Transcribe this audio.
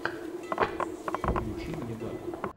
включи мне батл